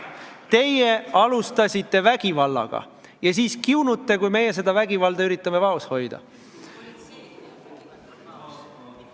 Teie alustasite vägivallaga ja siis kiunute, kui meie seda vägivalda üritame vaos hoida.